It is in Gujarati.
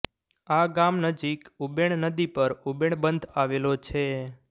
આ ગામ નજીક ઉબેણ નદી પર ઉબેણ બંધ આવેલો છે